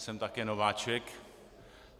Jsem také nováček.